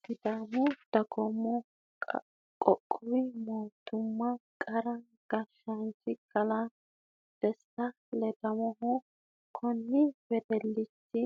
Sidaamu dagoomi qoqqowi mootimmahu garu gashaanchi kalaa desti ledamohu kunni wedelichi